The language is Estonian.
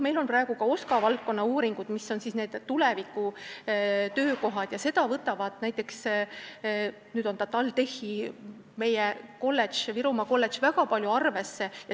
Meil on praegu olemas ka OSKA valdkonnauuringud selle kohta, mis on need tuleviku töökohad, ja seda võtab TalTechi Virumaa kolledž väga palju arvesse.